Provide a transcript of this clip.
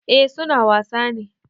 Eh su na wasa ne.